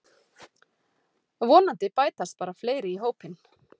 Vonandi bætast bara fleiri í hópinn